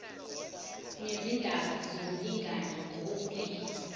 nezindaba zokulingana ngokobulili